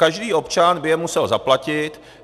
Každý občan by je musel zaplatit.